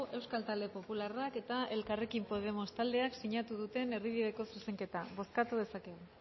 euskal talde popularrak eta elkarrekin podemos taldeak sinatu duten erdibideko zuzenketa bozkatu dezakegu